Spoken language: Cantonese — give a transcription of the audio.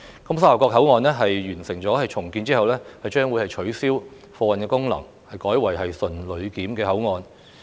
沙頭角口岸在完成重建後將會取消貨運功能，改為純旅檢口岸。